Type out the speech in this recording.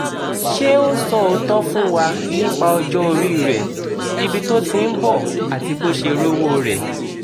ṣé ó sọ òótọ́ fún wa nípa ọjọ́ orí rẹ̀ ibi tó ti ń bọ̀ àti bó ṣe rówó rẹ̀